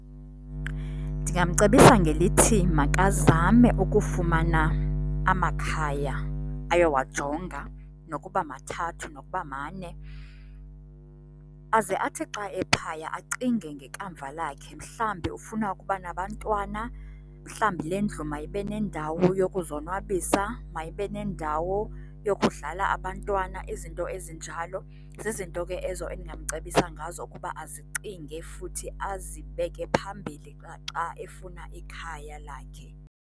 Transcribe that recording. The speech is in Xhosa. Ndingamcebisa ngelithi makazame ukufumana amakhaya ayowajonga nokuba mathathu, nokuba mane. Aze athi xa ephaya acinge ngekamva lakhe mhlambi ufuna ukuba nabantwana, mhlambi le ndlu mayibe nendawo yokuzonwabisa, mayibe nendawo yokudlala abantwana, izinto ezinjalo. Zizinto ke ezo endingamcebisa ngazo ukuba azicinge futhi azibeke phambili xa xa efuna ikhaya lakhe.